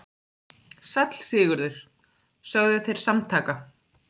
Sæll Sigurður, sögðu þeir samtaka.